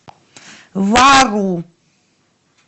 вару